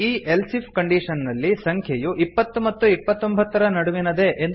ಈ else if condition ನಲ್ಲಿ ಸಂಖ್ಯೆಯು ಇಪ್ಪತ್ತು ಮತ್ತು ಇಪ್ಪತ್ತೊಂಭತ್ತರ ನಡುವಿನದೇ